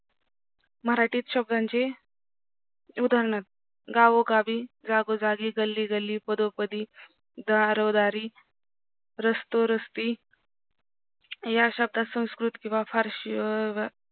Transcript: मराठीत शब्दांचे उदानहार्थ गावोगावी जागोजागी गल्ली गल्ली पदोपदी दारोदारी रस्तोरस्ती या शब्दात संस्कृत किव्हा फारशी